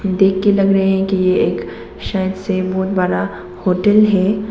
देख के लग रहे हैं कि एक शायद से बहुत बड़ा होटल है।